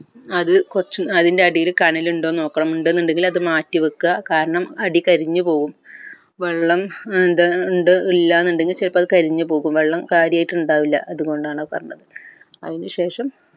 അത് കൊർച്ച് അതിൻ്റെ അടിയിൽ കനൽ ഉണ്ടോ എന്ന് നോക്കണം ഇണ്ട് എന്നുണ്ടങ്കിൽ അത് മാറ്റിവെക്ക കാരണം അടി കരിഞ്ഞുപോകും വെള്ളം ഏർ എന്താ ഇണ്ട് ഇല്ല എന്നുണ്ടങ്കിൽ ചിലപ്പോൾ അത് കരിഞ്ഞുപോകും വെള്ളം കാര്യമായിട്ട് ഇണ്ടാവില്ല അതുകൊണ്ടാണ് അത് പറഞ്ഞത് അയിൻശേഷം